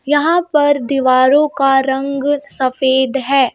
यहाँ पर दीवारों का रंग सफेद है.